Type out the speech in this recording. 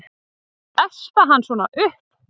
Að espa hann svona upp!